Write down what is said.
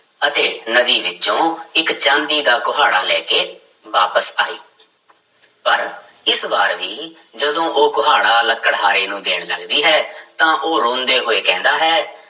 ਅਤੇ ਨਦੀ ਵਿੱਚੋਂ ਇੱਕ ਚਾਂਦੀ ਦਾ ਕੁਹਾੜਾ ਲੈ ਕੇ ਵਾਪਿਸ ਆਈ ਪਰ ਇਸ ਵਾਰ ਵੀ ਜਦੋਂ ਉਹ ਕੁਹਾੜਾ ਲੱਕੜਹਾਰੇ ਨੂੰ ਦੇਣ ਲੱਗਦੀ ਹੈ ਤਾਂ ਉਹ ਰੋਂਦੇ ਹੋਏ ਕਹਿੰਦਾ ਹੈ